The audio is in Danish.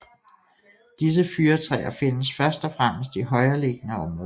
Disse fyrretræer findes først og fremmest i højereliggende områder